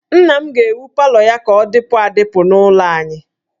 Nna m ga-ewu palọ ya ka ọ dịpụ adịpụ n'ụlọ anyị